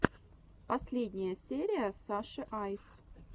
последняя серия саши айс